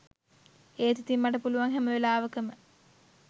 ඒත් ඉතිං මට පුළුවන් හැම වෙලාවකම